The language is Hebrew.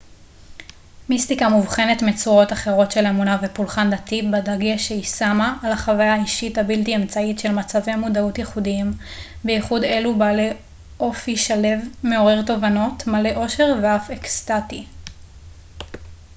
מיסטיקה מובחנת מצורות אחרות של אמונה ופולחן דתי בדגש שהיא שמה על החוויה האישית הבלתי אמצעית של מצבי מודעות ייחודיים בייחוד אלו בעלי אופי שלו מעורר תובנות מלא אושר ואף אקסטטי